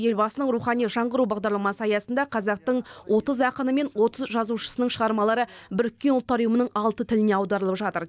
елбасының рухани жаңғыру бағдарламасы аясында қазақтың отыз ақыны мен отыз жазушысының шығармалары біріккен ұлттар ұйымының алты тіліне аударылып жатыр